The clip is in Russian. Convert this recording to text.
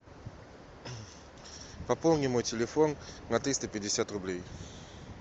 пополни мой телефон на триста пятьдесят рублей